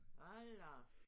Hold da op